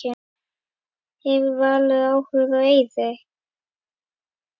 Hefur Valur áhuga á Eiði?